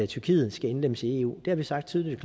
tyrkiet skal indlemmes i eu det har vi sagt tydeligt